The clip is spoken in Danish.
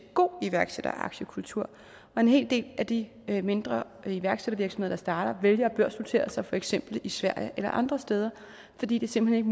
god iværksætter og aktiekultur og en hel del af de mindre iværksættervirksomheder der starter vælger at børsnotere sig i for eksempel sverige eller andre steder fordi det simpelt